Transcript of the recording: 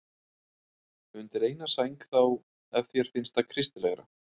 Undir eina sæng þá, ef þér finnst það kristilegra.